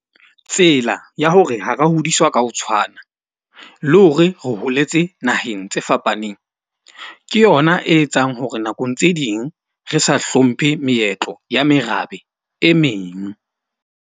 Tsela ya hore ha ra hodiswa ka ho tshwana le hore re holetse naheng tse fapaneng, ke yona e etsang hore nakong tse ding re sa hlomphe meetlo ya merabe e meng.